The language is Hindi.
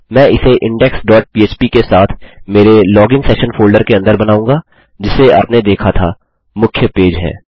मैं इसे इंडेक्स डॉट पह्प के साथ मेरे लॉगिन सेशन फोल्डर के अंदर बनाऊँगा जिसे आपने देखा था मुख्य पेज है